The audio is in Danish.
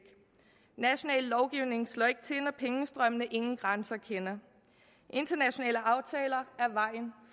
national lovgivning slår ikke til når pengestrømmene ingen grænser kender internationale aftaler